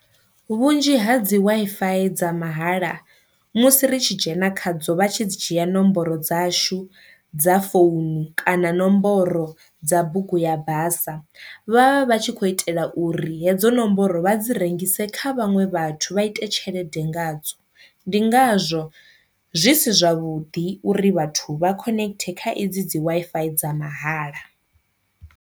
Vhunzhi ha dzi Wi-Fi dza mahala musi ri tshi dzhena khadzo vha tshi dzi dzhia nomboro dzashu dza founu kana nomboro dza bugu ya basa, vha vha vha tshi khou itela uri hedzo nomboro vha dzi rengise kha vhaṅwe vhathu vha ite tshelede nga dzo, ndi ngazwo zwi si zwavhuḓi uri vhathu vha connect kha edzi dzi Wi-Fi dza mahala.